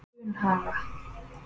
Dunhaga